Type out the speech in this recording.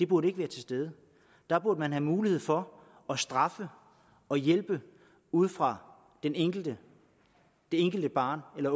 burde være til stede der burde man have mulighed for at straffe og hjælpe ud fra det enkelte enkelte barn eller